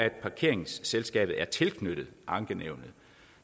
parkeringsselskabet er tilknyttet ankenævnet